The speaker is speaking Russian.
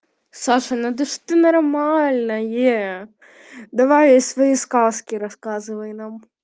саша надо же что нормальное давай свои сказки рассказывай нам